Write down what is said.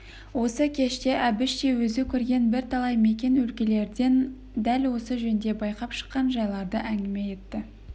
осы кеште әбіш те өзі көрген бірталай мекен өлкелерден дәл осы жөнде байқап шыққан жайларды әңгіме етті